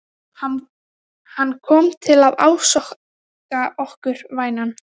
Hann kom til að ásaka okkur, vænan.